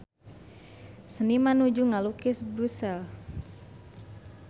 Seniman nuju ngalukis Brussels